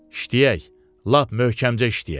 İşləyək, lap möhkəmcə işləyək.